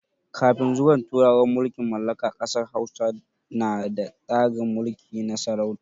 Kafin zuwan turawan mulkin mallaka ƙasar Hausa na da tsarin mulki na sarauta.